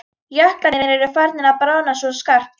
Jöklarnir eru farnir að bráðna svo skarpt.